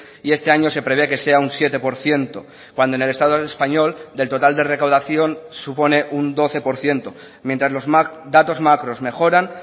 y este año se prevé que sea un siete por ciento cuando en el estado español del total de recaudación supone un doce por ciento mientras los datos macros mejoran